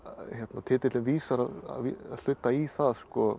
titillinn vísar að hluta í það